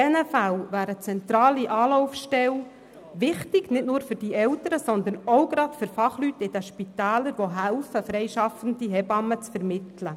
In solchen Fällen wäre eine zentrale Anlaufstelle wichtig, und zwar nicht nur für die Eltern, sondern auch gerade für die Fachleute in den Spitälern, die mithelfen, freischaffende Hebammen zu vermitteln.